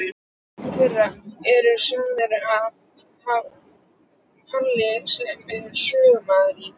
Nokkrar þeirra eru sagðar af Páli sem er sögumaður í